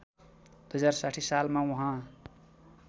२०६० सालमा उहाँ